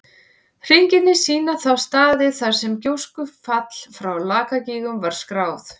Hringirnir sýna þá staði þar sem gjóskufall frá Lakagígum var skráð.